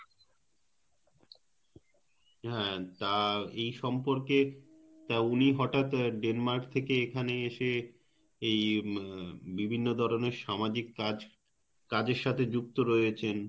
হ্যাঁ তা এই সম্পর্কে তা উনি হঠাত Denmark থেকে এখানে এসে এই উম বিভিন্ন ধরনের সামাজিক কাজ~ কাজের সাথে যুক্ত রয়েছেন